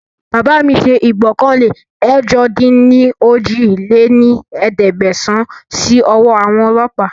Bàbá mi ṣe ìgbọ́kànlé ẹ̀jọ-dín-ní-ojì lé ní ẹ̀ẹ́dẹ́gbẹ́sán síí ọwọ́ àwọn ọlọ́pa